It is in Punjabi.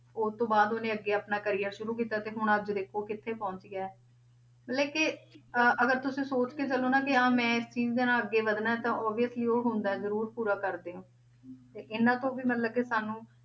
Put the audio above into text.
ਉਸ ਤੋਂ ਬਾਅਦ ਉਹਨੇ ਅੱਗੇ ਆਪਣਾ career ਸ਼ੁਰੂ ਕੀਤਾ, ਤੇ ਹੁਣ ਅੱਜ ਦੇਖੋ ਕਿੱਥੇ ਪਹੁੰਚ ਗਿਆ ਹੈ, ਮਤਲਬ ਕਿ ਅਹ ਅਗਰ ਤੁਸੀਂ ਸੋਚ ਕੇ ਚੱਲੋ ਨਾ ਕਿ ਹਾਂ ਮੈਂ ਇਸ ਚੀਜ਼ ਦੇ ਨਾਲ ਅੱਗੇ ਵੱਧਣਾ ਤਾਂ obviously ਉਹ ਹੁੰਦਾ ਹੈ ਜ਼ਰੂਰ ਪੂਰਾ ਕਰਦੇ ਹੋ ਤੇ ਇਹਨਾਂ ਤੋਂ ਵੀ ਮਤਲਬ ਕਿ ਸਾਨੂੰ